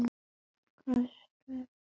Kristur endaði ævi sína á krossi.